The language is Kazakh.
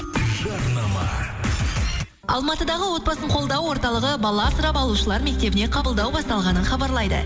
жарнама алматыдағы отбасын қолдау орталығы бала асырап алушылар мектебіне қабылдау басталғанын хабарлайды